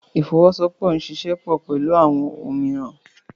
Ifowosowopo n ṣiṣẹ pọ pẹlu awọn omiiran.